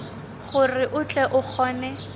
gore o tle o kgone